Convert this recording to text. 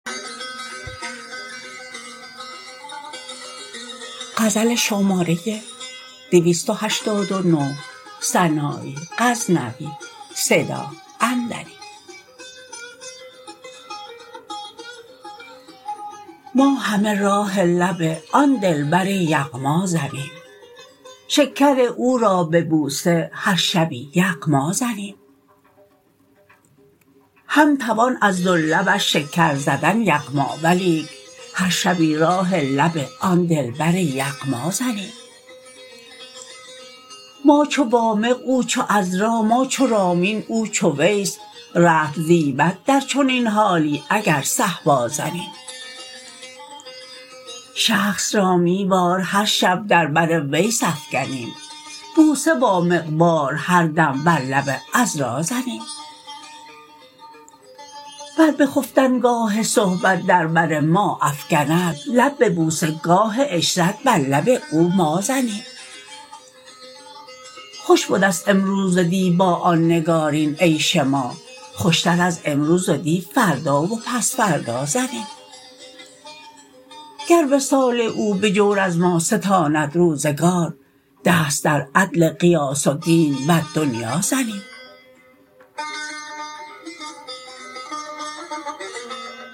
ما همه راه لب آن دلبر یغما زنیم شکر او را به بوسه هر شبی یغما زنیم هم توان از دو لبش شکر زدن یغما ولیک هر شبی راه لب آن دلبر یغما زنیم ما چو وامق او چو عذرا ما چو رامین او چو ویس رطل زیبد در چنین حالی اگر صهبا زنیم شخص را می وار هر شب در بر ویس افگنیم بوسه وامق وار هر دم بر لب عذرا زنیم بر بخفتن گاه صحبت در بر ما افگند لب به بوسه گاه عشرت بر لب او ما زنیم خوش بدست امروز و دی با آن نگارین عیش ما خوشتر از امروز و دی فردا و پس فردا زنیم گر وصال او به جور از ما ستاند روزگار دست در عدل غیاث الدین والدنیا زنیم